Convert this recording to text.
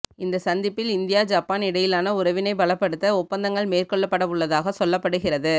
இந்த சந்திப்பில் India Japan இடையிலான உறவினை பலப்படுத்த ஒப்பந்தங்கள் மேற்கொள்ளப்படவுள்ளதாக சொல்லப்படுகிறது